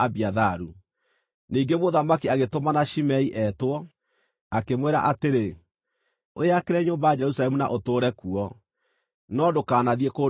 Ningĩ mũthamaki agĩtũmana Shimei eetwo, akĩmwĩra atĩrĩ, “Wĩakĩre nyũmba Jerusalemu na ũtũũre kuo, no ndũkanathiĩ kũndũ kũngĩ.